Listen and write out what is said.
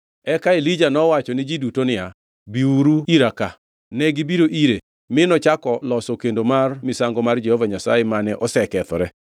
Eka Elija nowacho ni ji duto niya, “Biuru ira ka.” Negibiro ire mi nochako loso kendo mar misango mar Jehova Nyasaye mane osekethore.